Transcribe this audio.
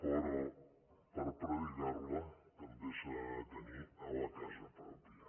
però per predicar la també se n’ha de tenir a la casa pròpia